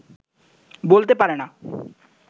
বলতে পারে না